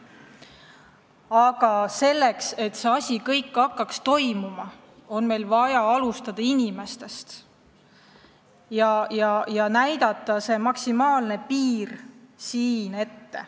Aga selleks, et see kõik hakkaks toimuma, on meil vaja alustada inimestest ja näidata ka täna kõne all olev maksimaalne piir ette.